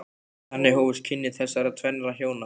Þannig hófust kynni þessara tvennra hjóna.